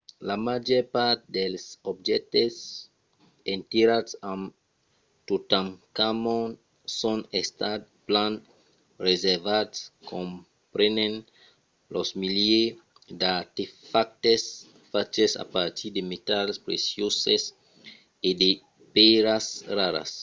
la màger part dels objèctes enterrats amb totankhamon son estats plan preservats comprenent los milièrs d'artefactes faches a partir de metals precioses e de pèiras raras